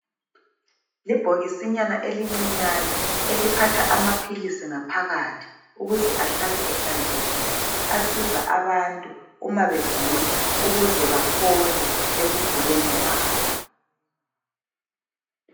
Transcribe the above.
Libhokisinyana elincinyane eliphatha amaphilisi ngaphakathi ukuze ahlale ehlanzekile, asiza abantu uma begula ukuze baphole ekuguleni kwabo.